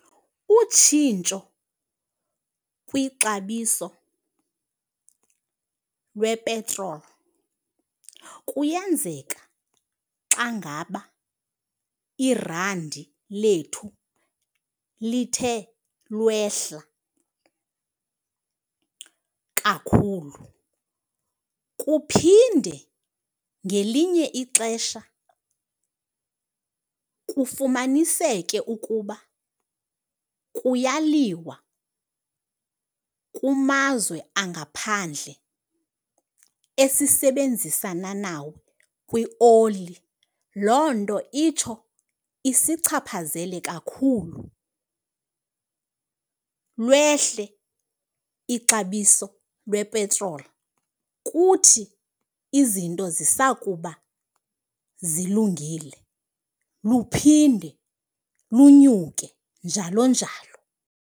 Utshintsho kwixabiso lwepetroli kuyenzeka xa ngaba irandi lethu lithe lwehla kakhulu. Kuphinde ngelinye ixesha kufumaniseke ukuba kuyaliwa kumazwe angaphandle esisebenzisana nawo kwioli. Loo nto itsho isichaphazele kakhulu, lwehle ixabiso lwepetroli. Kuthi izinto zisakuba zilungile luphinde lunyuke, njalo njalo.